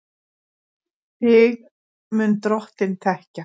Þig mun Drottinn þekkja.